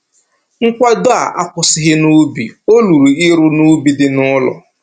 Nkwado a akwụsịghị n'ubi, o ruru ịrụ n'ubi dị n'ụlọ